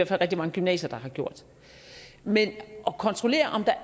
fald rigtig mange gymnasier der har gjort men at kontrollere om der er